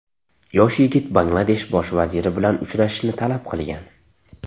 Yosh yigit Bangladesh bosh vaziri bilan uchrashishni talab qilgan.